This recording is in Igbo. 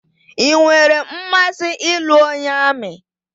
I nwèrè mmasị ịlụ onye amị